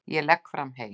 Ég legg fram hey.